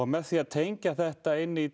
með því að tengja þetta inn í